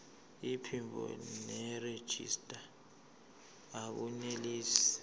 iphimbo nerejista akunelisi